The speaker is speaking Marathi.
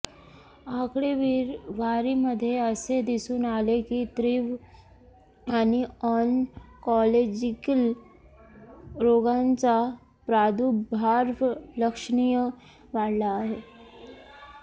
आकडेवारीमध्ये असे दिसून आले की तीव्र आणि ऑन्कोलॉजिकल रोगांचा प्रादुर्भाव लक्षणीय वाढला आहे